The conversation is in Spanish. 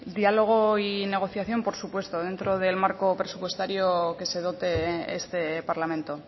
diálogo y negociación por supuesto dentro del marco presupuestario que se dote este parlamento